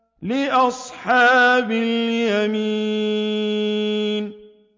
لِّأَصْحَابِ الْيَمِينِ